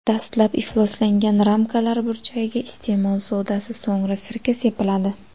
Dastlab ifloslangan ramkalar burchagiga iste’mol sodasi, so‘ngra sirka sepiladi.